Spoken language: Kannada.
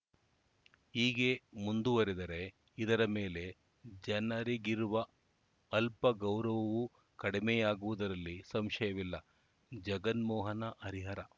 ಹೀಗೆ ಮುಂದುವರೆದರೆ ಇದರ ಮೇಲೆ ಜನರಿಗಿರುವ ಅಲ್ಪ ಗೌರವವೂ ಕಡಿಮೆಯಾಗುವುದರಲ್ಲಿ ಸಂಶಯವಿಲ್ಲ ಜಗನ್ಮೋಹನ ಹರಿಹರ